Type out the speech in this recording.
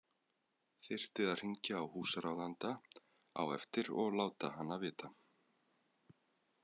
Þyrfti að hringja á húsráðanda á eftir og láta hana vita.